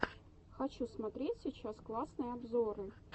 хочу смотреть сейчас классные обзоры